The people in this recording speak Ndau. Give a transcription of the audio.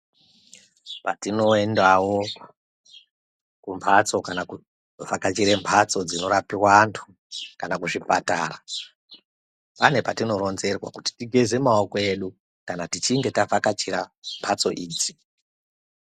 Patino endawo ku mbatso kana ku vhakachire mbatso dzino rapiwa antu kana zvipatara pane patino ronzerwa kuti tigeze maoko edu kana tichinge ta vhakachira mbatso idzi.